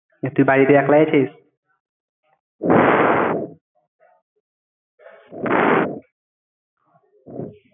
এই তুই বাড়িতে একলাই আছিস?